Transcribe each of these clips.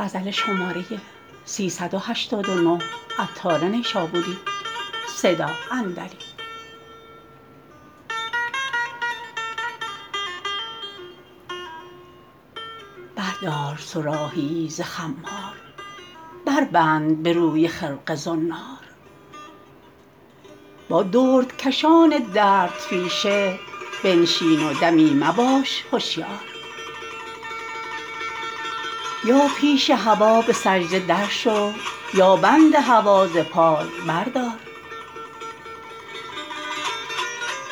بردار صراحیی ز خمار بربند به روی خرقه زنار با دردکشان دردپیشه بنشین و دمی مباش هشیار یا پیش هوا به سجده درشو یا بند هوا ز پای بردار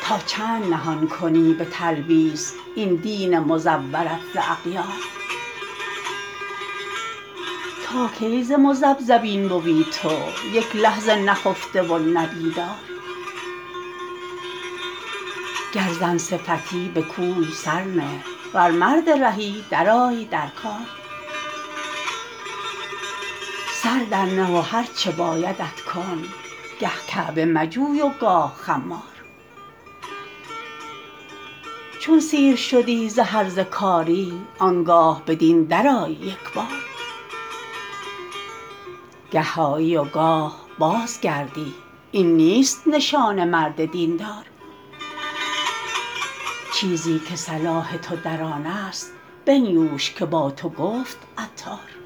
تا چند نهان کنی به تلبیس این دین مزورت ز اغیار تا کی ز مذبذبین بوی تو یک لحظه نخفته و نه بیدار گر زن صفتی به کوی سر نه ور مرد رهی درآی در کار سر در نه و هرچه بایدت کن گه کعبه مجوی و گاه خمار چون سیر شدی ز هرزه کاری آنگاه به دین درآی یکبار گه آیی و گاه بازگردی این نیست نشان مرد دین دار چیزی که صلاح تو در آن است بنیوش که با تو گفت عطار